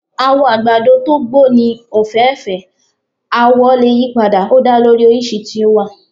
Àwọ̀ àgbàdo to gbó ní ọ̀fẹ́fẹ̀ẹ́, awọ lè yí padà, ó da lórí oríṣi tí ó wà.